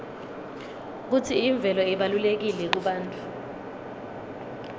kutsi imvelo ibalulekile kubantfu